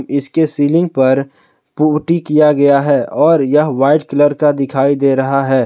इसके सीलिंग पर पुट्टी किया गया है और यह व्हाइट कलर का दिखाई दे रहा है।